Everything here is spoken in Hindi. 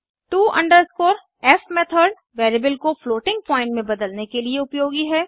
टो f मेथड वेरिएबल को फ्लोटिंग पॉइन्ट में बदलने के लिए उपयोगी है